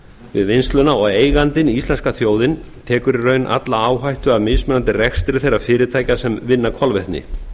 við vinnsluna og eigandinn íslenska þjóðin tekur í raun alla áhættu af mismunandi rekstri þeirra fyrirtækja sem vinna kolvetni